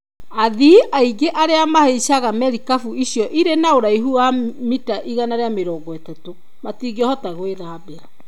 Athii aingĩ arĩa mahaicaga marikabu icio irĩ na ũraihu wa mita 130 matingĩhota gwithambera.